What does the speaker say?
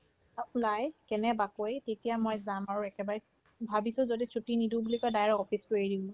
অ, নাই কেনেবা কৰি তেতিয়া মই যাম আৰু একেবাৰে ভাবিছো যদি ছুটি নিদিও বুলো কই direct office তো এৰিম মই